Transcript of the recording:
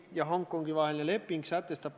Kas on protseduurilised küsimused?